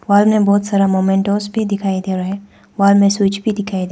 Wall में बहोत सारा मोमेंट्स भी दिखाई दे रहा है। वॉल में स्विच भी दिखाई दे रहा --